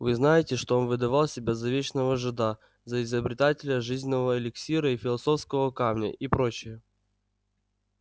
вы знаете что он выдавал себя за вечного жида за изобретателя жизненного эликсира и философского камня и прочая